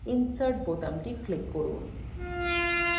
insert বোতামটি click করুন